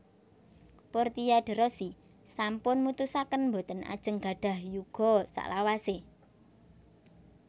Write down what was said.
Portia de Rossi sampun mutusaken mboten ajeng nggadhah yuga saklawase